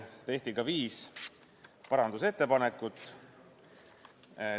Tehti ka viis parandusettepanekut.